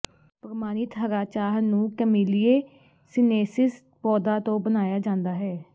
ਪ੍ਰਮਾਣਿਤ ਹਰਾ ਚਾਹ ਨੂੰ ਕੈਮੈਲਿਏ ਸੀਨੇਨਸਿਸ ਪੌਦਾ ਤੋਂ ਬਣਾਇਆ ਜਾਂਦਾ ਹੈ